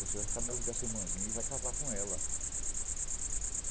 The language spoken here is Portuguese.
Você vai ficar noivo dessa irmãzinha e vai casar com ela.